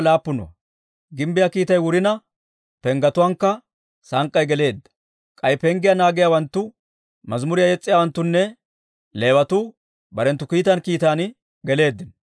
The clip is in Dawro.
Gimbbiyaa kiittay wurina, penggetuwaankka sank'k'ay geleedda. K'ay penggiyaa naagiyaawanttu, mazimuriyaa yes's'iyaawanttunne Leewatuu barenttu kiitaan kiitan geleeddino.